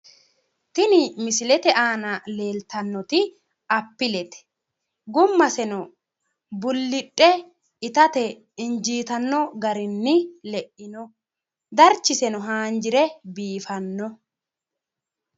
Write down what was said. Tini misilete aanna leelitanoti appilete, gumaseno bulidhe ittate injiitano garini le'ino darichiseno haanjire biiffano